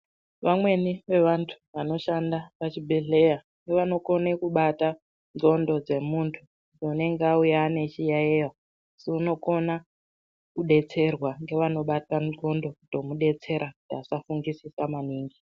Vanweni vevantu vanoshanda pachibhedhleya vanokone kubata ndxondo dzemuntu unenge auya ane chiyaiyo asi unokone kudetserwa ngevanobata ndxondo kutomudetsera kuti asafungisisa maningi.